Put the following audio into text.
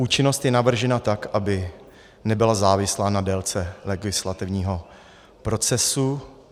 Účinnost je navržena tak, aby nebyla závislá na délce legislativního procesu.